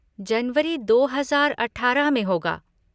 जनवरी दो हजार अठारह में होगा।